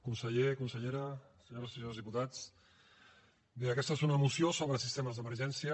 conseller consellera senyores i senyors diputats bé aquesta és una moció sobre sistemes d’emergència